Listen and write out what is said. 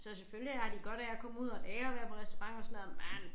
Så selvfølgelig har de godt af at komme ud og lære at være på restaurant og sådan noget men